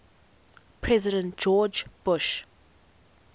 president george bush